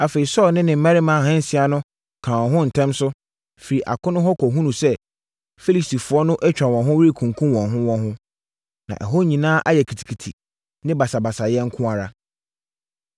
Afei, Saulo ne ne mmarima ahansia no kaa wɔn ho ntɛm so, firii akono hɔ kɔhunuu sɛ, Filistifoɔ no atwa wɔn ho rekunkum wɔn ho wɔn ho. Na ɛhɔ nyinaa ayɛ kitikiti ne basabasayɛ nko ara.